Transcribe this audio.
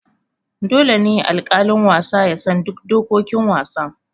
Dole ne alƙalin wasa ya san duk dokokin wasan.